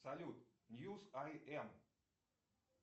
салют ньюс ай эм